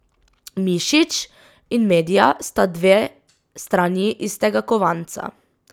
Mišič in Medja sta dve strani istega kovanca.